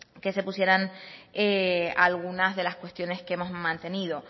que se pusieran algunas de las cuestiones que hemos mantenido